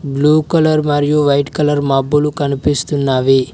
Blue colour మరియు white colour మబ్బులు కనిపిస్తున్నవి.